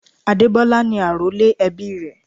Adebola ni àrólé ẹbí rè.